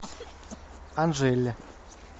анжеле